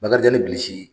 Bakarijan ni bilisi